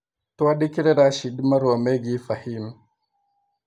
Twandĩkĩre Rashid marũa megiĩ fahim